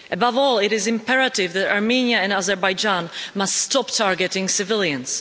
Above all, it is imperative that Armenia and Azerbaijan must stop targeting civilians.